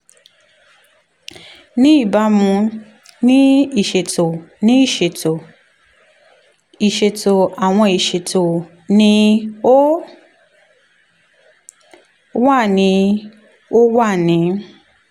ni ibamu ni iṣeto ni iṣeto iṣeto awọn iṣeto ni o wa ni o wa ni